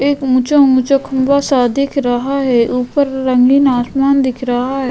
एक ऊंचा ऊंचा खंबा सा दिख रहा है ऊपर रंगीन आसमान दिख रहा है।